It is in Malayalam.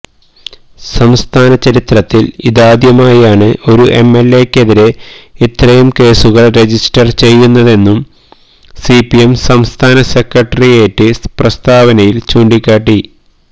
സംസ്ഥാന ചരിത്രത്തിൽ ഇതാദ്യമായാണ് ഒരു എംഎൽഎക്കെതിരെ ഇത്രയും കേസുകൾ രജിസ്റ്റർ ചെയ്യുന്നതെന്നും സിപിഎം സംസ്ഥാന സെക്രട്ടേറിയറ്റ് പ്രസ്താവനയിൽ ചൂണ്ടിക്കാട്ടി